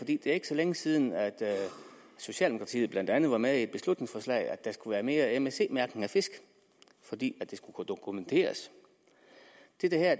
det er ikke så længe siden at socialdemokratiet blandt andet var med i et beslutningsforslag om at der skulle være mere msc mærkning af fisk fordi det skulle kunne dokumenteres